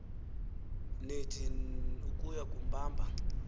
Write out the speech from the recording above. nith ukuya kumbamba